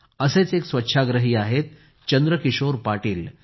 असेच एक स्वछाग्रही आहेत चंद्रकिशोर पाटील